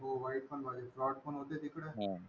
हो वाईट पण बाजू आहे. Fraud पण होते तिकडे.